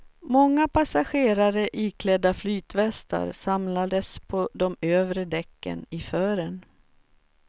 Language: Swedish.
Många passagerare iklädda flytvästar samlades på de övre däcken i fören.